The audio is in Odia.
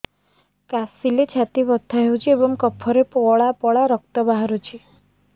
କାଶିଲେ ଛାତି ବଥା ହେଉଛି ଏବଂ କଫରେ ପଳା ପଳା ରକ୍ତ ବାହାରୁଚି